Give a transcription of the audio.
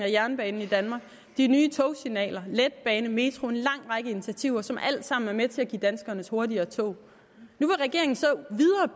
af jernbanen i danmark de nye togsignaler letbane metro en lang række initiativer som alle sammen er med til at give danskerne hurtigere tog nu vil regeringen så